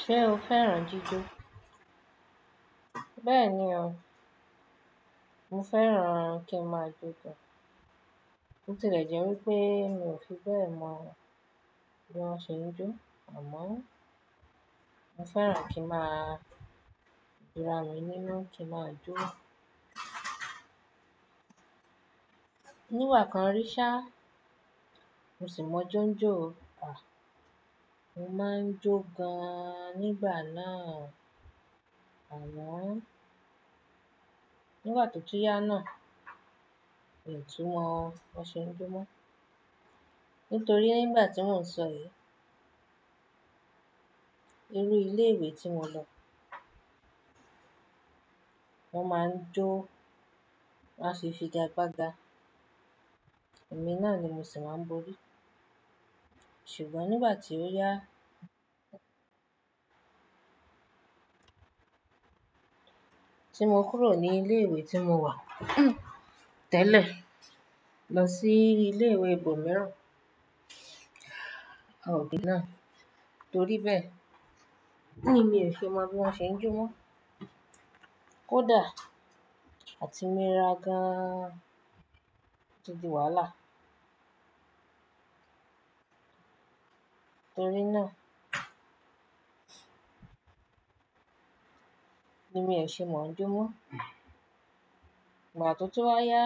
Ṣé o fẹ́ràn jíjó? Bẹ́ẹ̀ni o, mo fẹ́ràn kí n máa je sun. Botilẹjẹ wipé e mi ò fi bẹ́ẹ̀ mọ o bí wọ́n ṣe ń jó, àmọ́ o mo fẹ́ràn kí máa ki maa rin nínú kí n máa jó. Nígbakan rí ṣá a, mo sì mọ jóńjó, à, mo máa ń jó gan-an nígbà náà a. Àmọ́ o nígbà tó tún yá náà, mi ò tú mọ bo ṣe ń jó mọ́. Nítorí nígbà tí mò ń sọ èyí, irú ilé ìwé tí mo lọ, wọ́n máa ń jó, won a ṣe figagbaga. Ẹ̀mí náà ni mo sì máa ń borí. Ṣùgbọ́n nígbà tí ó yá a, tí mo kúrò ní ilé ìwé tí mo wà tẹ́lẹ̀ lọ sí ilé ìwé ibòmíràn, a ò gbé náà. Torí bẹ́ẹ̀, hun mi ò fi mọ bí wọ́n ṣe ń jó mọ́. Kódà àti mi rà gan-an ti di wàhálà. Torí náà, ni mi ò ṣe mọ o jó mọ́. Ígbà tó tú wá yá,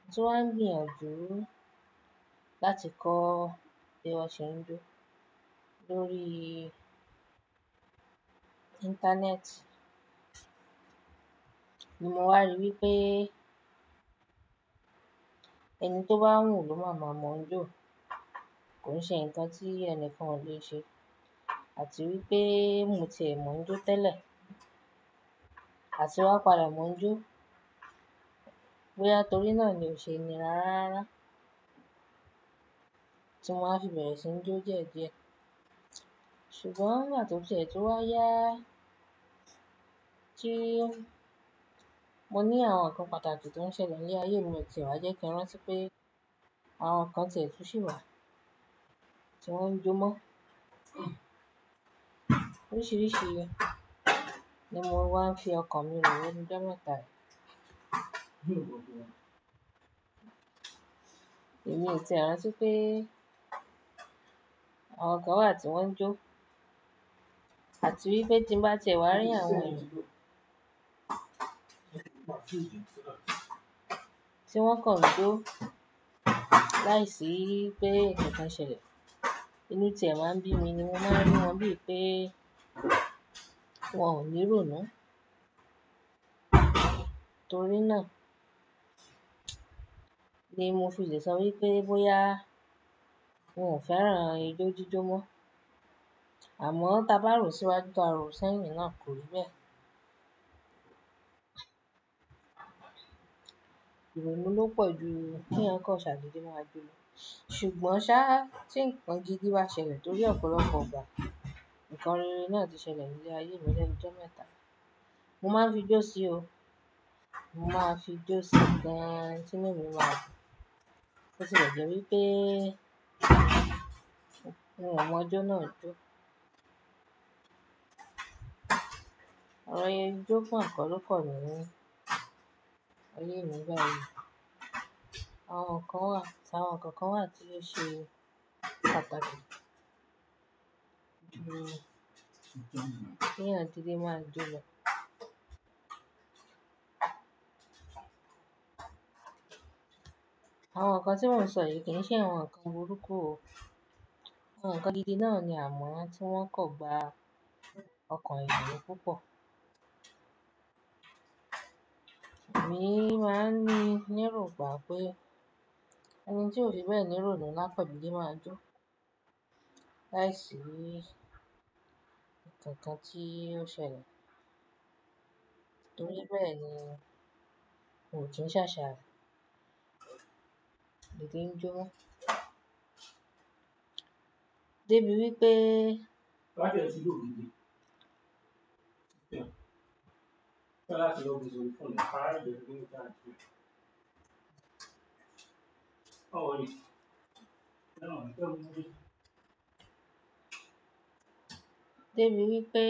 mo ti wá gbìyànjú láti kọ bí wọ́n ṣe ń jó lórí ii Internet. Ni mo wá rí wípé ẹni tó bá wù ló máa maá mọ̀ o jó. Kò se ǹkan tí ẹnìkan ò lè ṣe. Àti wípé mo ti ẹ́ mọ jó o tẹ́lẹ̀, àti wá padà mọ jó. Bóyá torí náà ni ò ṣe nira rararárá, tí mo wa fi bẹ̀rẹ̀ sí n jó díẹ̀díẹ̀. Ṣùgbọ́n nígbà tó ti ẹ tú wá yá a, tí i mo ní àwọn ǹkan pàtàkì tọ́ n ṣẹ̀lẹ̀ níle ayé mi o ti ẹ́ wá jẹ́ kí n rántí pé àwọn ǹkan ti ẹ́ tú sì wà tiwon ń jó mọ́. Oríṣìíríṣìí ni mo wá ń fi ọkàn mi rò lenujo mẹ́ta yii. Èmi ò ti e rántí pé e àwọn kan wà tí wọ́n ń jó, àti wípé tí mo bá ti ẹ́ wá rí èyàn ran tí wọ́n kọ̀ n jó láìsí i ipé ǹkankan ṣẹlẹ̀. Ini tí ẹ̀ máa ń bími ni mo máa ń rí wọn bíi pé e wọn ò ní rònú. Torí náà ni mo fi lẹ̀ sọ wipé bóyá n ò fẹ́ràn ijó jíjó mọ́ a. Àmọ́ tá bá rò síwájú tó àárọ̀ sẹ́yìn náà kò rí bẹ́ẹ̀. Ìrònú ló pọ̀ ju u kí eyan kan sadede máa jó lọ́. Ṣùgbọ́n sá tí ǹkan gidi bá ṣẹlẹ̀ torí ọ̀pọ̀lọpọ̀ igbà, ǹkan rere náà ti ṣẹlẹ̀ ní ayé mi lẹ́nu jọ́ mẹ́ta yii. Mo máa ń fi jó sí o. Mo máa fijó sí gan ni tí inu mí ma dun. Botilẹjẹ wipé e mi ò mọ ijó náà a jó. Oro enjó fon ko ló kan mi mo layé mi báyìí. Àwọn ǹkan wà, àwọn ǹkankan wà tí ó ṣe pàtàkì ní ju keyan gidi máa jó mọ́. Àwọn ǹkan tí mò ń sọ yìí kì í ṣe àwọn ǹkan burúkú o. Àwọn ǹkan gidi náà ni àmọ́ ti wọ́n kò gba ọkàn ayàn púpọ̀. Èmi n máa ń ní nírògbà pé oun tí ò fi bẹ́ẹ̀ ní rònú la kan dede máa jó láìsí ǹkan kan tí ó ṣẹlẹ̀. Torí bẹ́ẹ̀ ni n kí n ṣàṣà bíi n kí n jó. Dé bí wípé e Dé bí wípé.